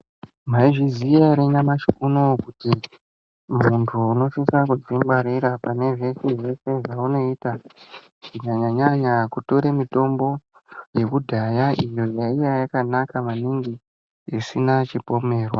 Maizviziya ere nyamashi unowu kuti muntu unosisa kudzingwarira pane zveshe zvaunoita kunyanya nyanya kutore mitombo yekudhaya iyo yaiya yakanaka maningi isina chipomerwa.